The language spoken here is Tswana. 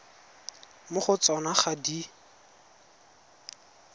mo go tsona ga di